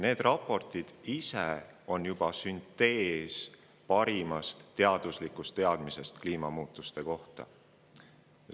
Need raportid ise on juba süntees parimast teaduslikust teadmisest kliimamuutuste kohta.